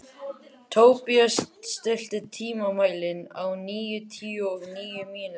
Tobías, stilltu tímamælinn á níutíu og níu mínútur.